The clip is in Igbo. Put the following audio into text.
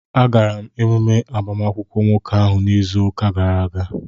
Agara m emume agbamakwụkwọ nwoke ahụ izu ụka gara aga